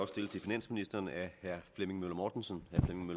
stillet til finansministeren af herre flemming møller mortensen